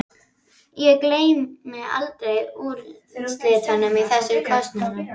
Ég gleymi aldrei úrslitunum í þessum kosningum.